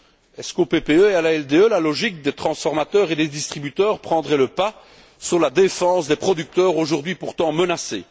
Est ce qu'au PPE et à l'ALDE la logique des transformateurs et des distributeurs prendrait le pas sur la défense des producteurs aujourd'hui pourtant menacés?